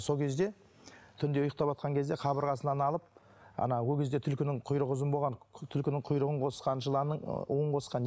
сол кезде түнде ұйықтаватқан кезде қабырғасынан алып ол кезде түлкінің құйрығы ұзын болған түлкінің құйрығын қосқан жыланның ы уын қосқан